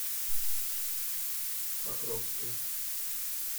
покровске